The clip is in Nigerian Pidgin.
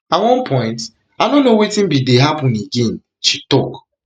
at one point i no know wetin bin dey happun again happun again she tok